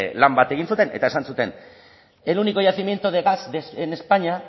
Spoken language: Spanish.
lan bat egin zuten eta esan zuten el único yacimiento de gas en españa